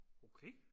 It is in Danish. okay